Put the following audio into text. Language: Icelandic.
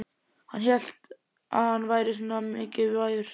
Hélt hann að hann væri svona mikilvægur?